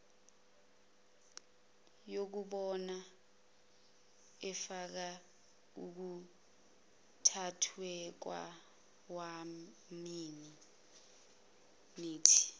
yobumbano efaka ukuthathwakwamaminithi